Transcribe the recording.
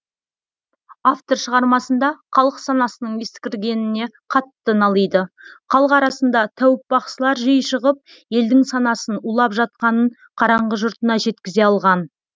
автор шығармасында қалық санасының ескіргеніне қатты налиды қалық арасында тәуіп бақсылар жиі шығып елдің санасын улап жатқанын қараңғы жұртына жеткізе алған